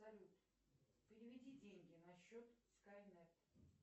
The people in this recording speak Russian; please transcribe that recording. салют переведи деньги на счет скайнет